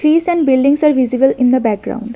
Trees and buildings are visible in the background.